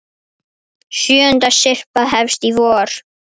Sjöunda syrpa hefst í vor.